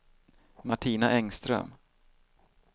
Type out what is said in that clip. Martina Engström